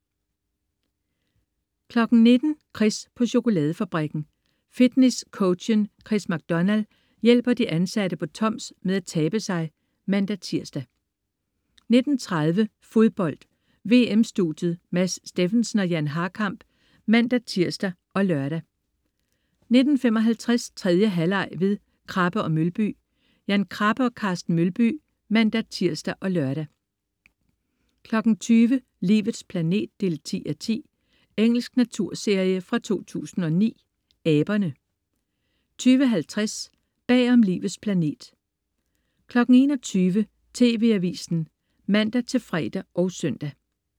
19.00 Chris på chokoladefabrikken. Fitness-coachen Chris MacDonald hjælper de ansatte på Toms med at tabe sig(man-tirs) 19.30 Fodbold: VM-studiet. Mads Steffensen og Jan Harkamp (man-tirs og lør) 19.55 3. halvleg ved Krabbe & Mølby. Jan Krabbe og Carsten Mølby (man-tirs og lør) 20.00 Livets planet 10:10. Engelsk naturserie fra 2009. Aberne 20.50 Bag om Livets planet 21.00 TV Avisen (man-fre og søn)